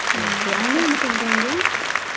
okay okay அண்ணா என்ன பண்றாங்க